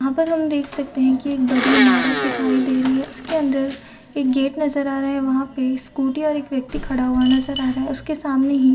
यहाँ पर हम देख सकते है की बड़ी ईमारत दिखाई दे रही है उसके अन्दर एक गेट नज़र आ रहा है वहा पे स्कूटी और एक व्यक्ति खड़ा हुआ नज़र आ रहा है उसके सामने ही--